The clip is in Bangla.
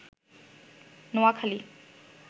নোয়াখালী